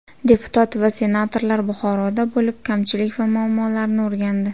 Deputat va senatorlar Buxoroda bo‘lib, kamchilik va muammolarni o‘rgandi.